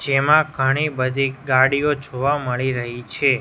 જેમાં ઘણી બધી ગાડીયો જોવા મળી રહી છે.